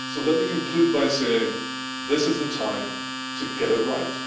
So let me conclude by saying this is the time to get it right.